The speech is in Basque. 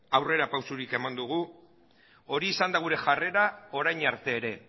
aurrerapausorik eman dugu hori izan da gure jarrera orain arte ere